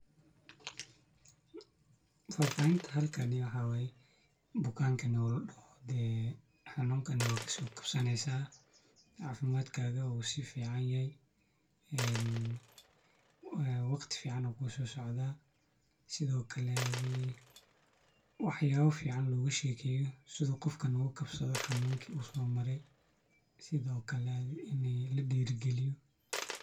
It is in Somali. Fafahinta halkani wxa waye bukankan o ladoho xanunkan wad kasokabsaneysa cafimadkaga u si fidaya en waqti fican aa kuso socda isthi o kale athi wax yaba fican loshegeyan sidi qof ogaka kabsado xanunka u mare sithi o kale ini ladirigaloyo.